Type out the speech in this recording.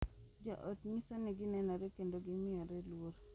Jo ot nyiso ni ginenore kendo gimiyore luor.